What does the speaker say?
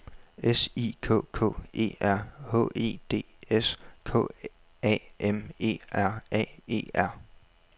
S I K K E R H E D S K A M E R A E R